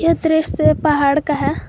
यह दृश्य पहाड़ का है।